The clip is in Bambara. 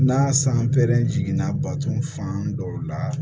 N'a san pɛrɛnna baton fan dɔw la